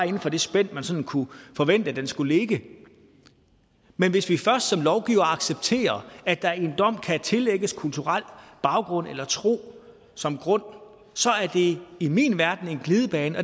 inden for det spænd man sådan kunne forvente at den skulle ligge men hvis vi først som lovgivere accepterer at der i en dom kan tillægges kulturel baggrund eller tro som grund så er det i min verden en glidebane